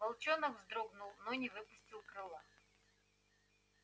волчонок вздрогнул но не выпустил крыла